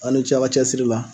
Aw ni ce a ka cɛsiri la